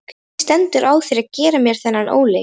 Hvernig stendur á þér að gera mér þennan óleik?